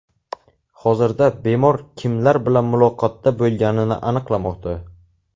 Hozirda bemor kimlar bilan muloqotda bo‘lganini aniqlamoqda.